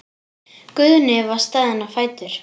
Guðni var staðinn á fætur.